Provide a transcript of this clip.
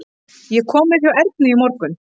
Ég kom við hjá Ernu í morgun.